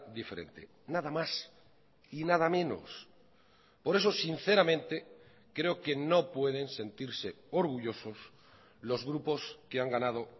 diferente nada más y nada menos por eso sinceramente creo que no pueden sentirse orgullosos los grupos que han ganado